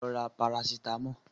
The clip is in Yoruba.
Lọ ra Parasítámọ̀!